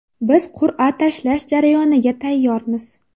Biz qur’a tashlash jarayoniga tayyormiz.